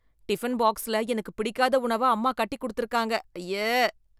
Tiffin பாக்ஸில எனக்கு பிடிக்காத உணவ அம்மா கட்டி கொடுத்திருக்காங்க, அய்யே.